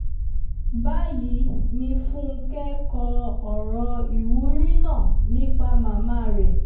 báyìí ni fúnkẹ́ kọ ọ̀rọ̀ ìwúrí náà nípa màmá rẹ̀